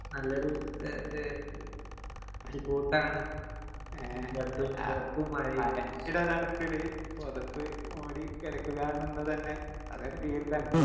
നല്ലൊരു ഏഹ്, ഏഹ് ഒരു കൂട്ടാണ്. ഏഹ് അനക്കില്ലേടാ തണുക്കല് പൊതപ്പ് മൂടി കെടക്കുക എന്നുള്ളത് തന്നെ അതൊരു ഫീല് തന്നെ.